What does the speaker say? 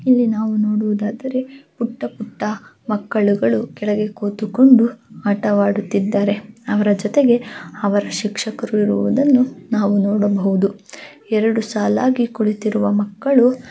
ಇಲ್ಲಿ ನಾವು ನೋಡುವುದಾದರೆ ಪುಟ್ಟ ಪುಟ್ಟ ಮಕ್ಕಳು ಕೆಳಗೆ ಕೂತುಕೊಂಡು ಆಟವಾಡುತ್ತಿದ್ದಾರೆ ಅವರ ಜೊತೆಗೆ ಅವರ ಶಿಕ್ಷಕರು ಇರುವುದನ್ನು ಕೂಡ ನಾವು ನೋಡಬಹುದು ಎರಡು ಸಾಲಾಗಿ ಕೂತಿರುವ ಮಕ್ಕಳು--